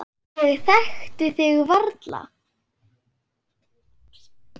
Ég þekkti þig varla.